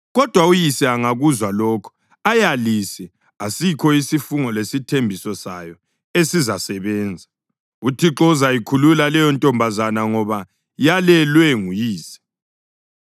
Kodwa uyise angakuzwa lokho ayalise asikho isifungo lesithembiso sayo esizasebenza; uThixo uzayikhulula leyontombazana ngoba yalelwe nguyise.